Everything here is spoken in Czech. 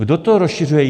Kdo to rozšiřuje?